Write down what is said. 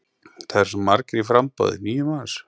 Það eru svo margir í framboði, níu manns?